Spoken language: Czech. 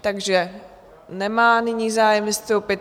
Takže nemá nyní zájem vystoupit.